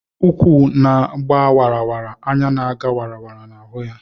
ụkwụ na ga wara; anya na ga wara na hụ ya